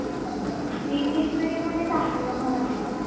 english mediumमध्ये टाकली का मराठी?